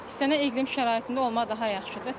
İstənilən iqlim şəraitində olmaq daha yaxşıdır.